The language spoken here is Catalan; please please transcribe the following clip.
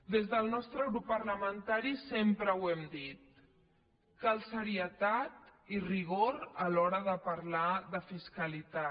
des del nostre grup parlamentari sempre ho hem dit cal serietat i rigor a l’hora de parlar de fiscalitat